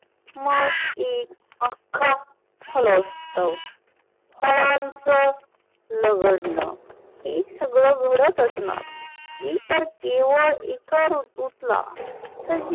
मग एक अख्खा फुलोत्सव फळांच लगडन हे सगळ घडत असण मी तर केवळ एक ऋतूतला सजीवां